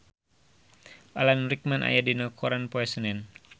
Alan Rickman aya dina koran poe Senen